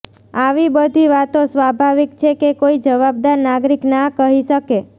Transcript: આવી બધી વાતો સ્વાભાવિક છે કે કોઇ જવાબદાર નાગરિક ના કહી શકે